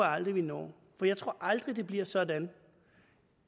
aldrig vi når jeg tror aldrig det bliver sådan